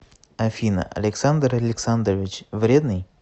афина александр александрович вредный